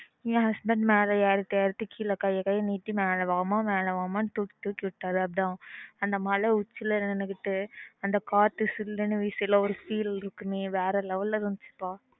என் husband மேல ஏறிட்டு ஏறிட்டு கீழ கைய கைய நீடித்து மேல வா மா மேல வா தூக்கி தூக்கி விட்டாரு அதான் அந்த மலை உச்சில நின்னுகிட்டு அந்த காத்து சில்லுனு வீசும் ல ஒரு feel இருக்குமே vera level ல இருந்துச்சு பா